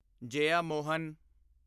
Jeyamohan